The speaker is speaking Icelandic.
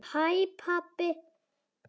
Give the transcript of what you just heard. HÆ PABBI!